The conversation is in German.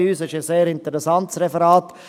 Es war ein sehr interessantes Referat.